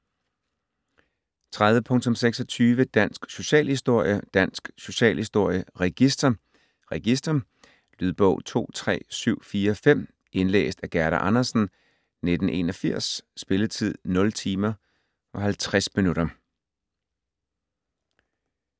30.26 Dansk socialhistorie: Dansk socialhistorie - Register: Register Lydbog 23745 Indlæst af Gerda Andersen, 1981. Spilletid: 0 timer, 50 minutter.